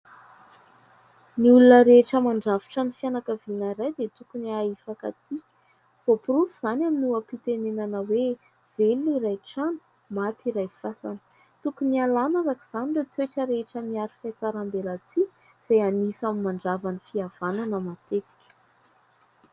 Ny olona rehetra mandrafitra ny fianakaviana iray dia tokony hahay hifankatia. Voaporofo izany aminy ny oham-pitenenana hoe "Velona iray trano, maty iray fasana" Tokony hialàna araka izany ireo toetra rehetra miaro fiatsaram-belatsihy izay anisan'ny mandrava ny fihavanana matetika.